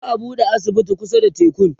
za'a buɗe asibiti kusa da tekun